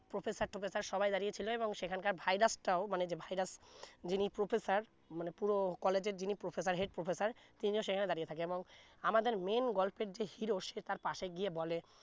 professor টোফেসার সবাই দাড়িয়ে ছিলো এবং সেখানকার virus টাও মানে যে virus যিনি professor মানে পুরো college এর যিনি professor head professor তিনিও সেখানে দাড়িয়ে থাকে আমাদের main গল্পের যে hero সে তার পাশে গিয়ে বললে